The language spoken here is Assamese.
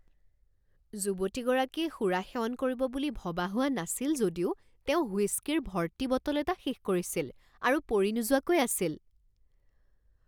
যুৱতীগৰাকীয়ে সুৰা সেৱন কৰিব বুলি ভবা হোৱা নাছিল যদিও তেওঁ হুইস্কিৰ ভৰ্তি বটল এটা শেষ কৰিছিল আৰু পৰি নোযোৱাকৈ আছিল।